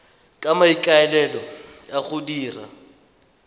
ka maikaelelo a go dira